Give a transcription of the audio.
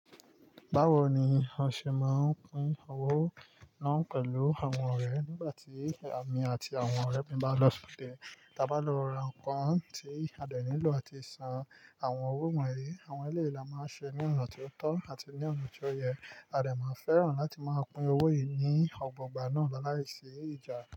Báwo ni o ṣe máa ń pín owó náà pẹ̀lú àwọn ọ̀rẹ́ rẹ? Nígbà tí èmi àti àwọn ọ̀rẹ́ mi bá lọ ṣ'odé, da bá lọ ra nǹkan tí a dènì lọ àti san àwọn owó wọ̀nyí, àwọn ẹlẹ́yìí la máa ṣe ní ọ̀nà tó tọ́ àti ní ọ̀nà tó yẹ. Adè máa fẹ́ràn láti máa pín owó yìí ní ọgbọ̀ gbà náà láí ṣí ìjà.